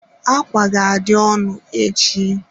Ákwà ga-adị ọnụ echi.